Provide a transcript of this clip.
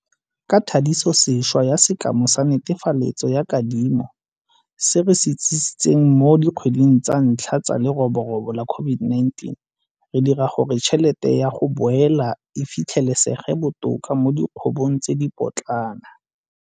Ka thadisosešwa ya sekema sa netefaletso ya kadimo se re se itsisitseng mo dikgweding tsa ntlha tsa leroborobo la COVID19, re dira gore tšhelete ya 'go boela' e fitlhelesege botoka mo dikgwebong tse dipotlana.